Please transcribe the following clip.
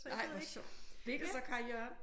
Ej hvor sjovt. Blev det så Kaj Jørgen?